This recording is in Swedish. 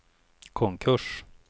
konkurs